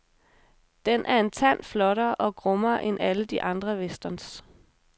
Den er en tand flottere og grummere end alle de andre westerns.